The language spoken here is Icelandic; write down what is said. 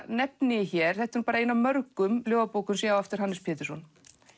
nefni ég hér þetta er ein af mörgum ljóðabókum sem ég á eftir Hannes Pétursson